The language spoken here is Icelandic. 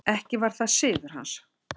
Ekki var það siður hans.